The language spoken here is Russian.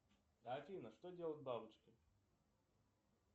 афина что делают бабочки